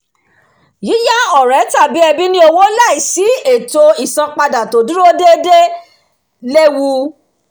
yíyá ọ̀rẹ́ tàbí ẹbí ní owó láìsí ìṣètò isanpada to dúró déédéé léwu